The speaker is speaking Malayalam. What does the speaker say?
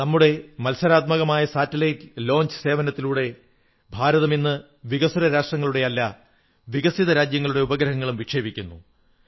നമ്മുടെ മത്സരാധിഷ്ഠിതമായ ഉപഗ്രഹ വിക്ഷേപണ സേവനത്തിലൂടെ ഭാരതം ഇന്ന് വികസ്വര രാജ്യങ്ങളുടെയല്ല വികസിത രാജ്യങ്ങളുടെ ഉപഗ്രഹങ്ങളും വിക്ഷേപിക്കുന്നു